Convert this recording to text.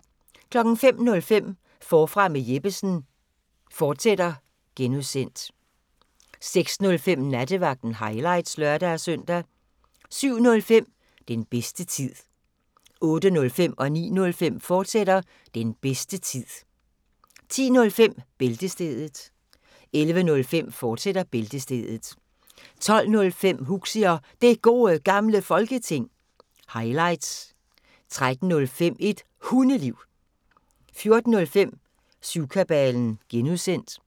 05:05: Forfra med Jeppesen fortsat (G) 06:05: Nattevagten – highlights (lør-søn) 07:05: Den bedste tid 08:05: Den bedste tid, fortsat 09:05: Den bedste tid, fortsat 10:05: Bæltestedet 11:05: Bæltestedet, fortsat 12:05: Huxi og Det Gode Gamle Folketing – highlights 13:05: Et Hundeliv 14:05: Syvkabalen (G)